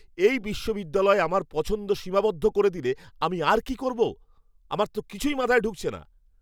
এই বিশ্ববিদ্যালয় আমার পছন্দ সীমাবদ্ধ করে দিলে আমি আর কি করবো? আমার তো কিছুই মাথায় ঢুকছে না।